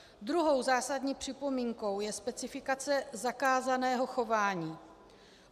Druhou zásadní připomínkou je specifikace zakázaného chování.